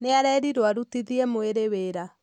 Nĩ arerirwo arutithie mwĩrĩ wĩra.